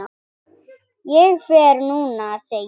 Ég fer núna, segi ég.